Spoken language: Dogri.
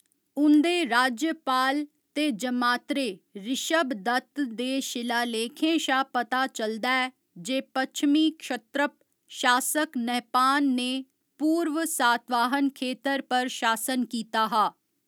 उं'दे राज्यपाल ते जमातरे, ऋशभदत्त दे शिलालेखें शा पता चलदा ऐ जे पच्छमी क्षत्रप शासक नहपान ने पूर्व सातवाहन खेतर पर शासन कीता हा।